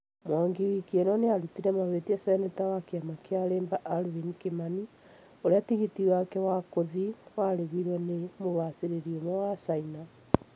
Mwangi wiki ĩno nĩarutire mahĩtia Senator wa kĩama kĩa Leba Alvin Kimani, ũrĩa tigiti wake wagũthiĩ warĩhirwo nĩ mũbacĩrĩri ũmwe wa China